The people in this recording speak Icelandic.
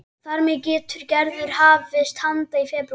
Þar með getur Gerður hafist handa í febrúar